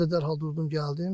Mən də dərhal durdum, gəldim.